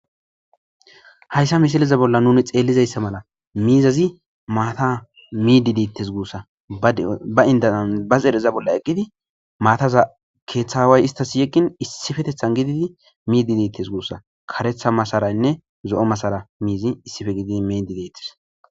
Haysa misileza bolla nu xelizay mizay maata midi deetes guusa ba zedheza bolla eqidi mataza keetha aaway istas yegin issipetethan miidi deetes guusa karetha masaraynne zo'o masaray issipe gididi midi deetes